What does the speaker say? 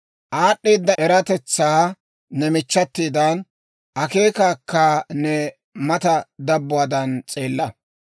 Aad'd'eeda eratetsaa ne michchatidan, akeekaakka ne mata dabbuwaadan s'eella.